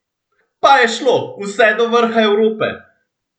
Pa je šlo, vse do vrha Evrope!